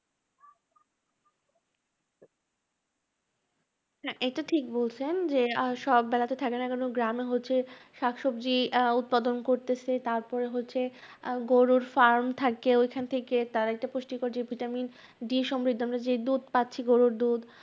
না এটা ঠিক বলছেন, যে আহ সব বেলা তে থাকে না, কেননা গ্রামে হচ্ছে শাকসবজি আহ উৎপাদন করতেছে, তারপরে হচ্ছে আহ গরুর farm থাকে ঐখান থেকে তার একটা পুষ্টিকর যে vitamin D সমৃদ্ধ যে দুধ পাচ্ছি, গরুর দুধ